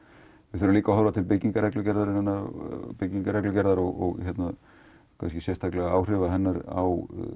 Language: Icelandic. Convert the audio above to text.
við þurfum líka að horfa til byggingareglugerðar og byggingareglugerðar og áhrifa hennar á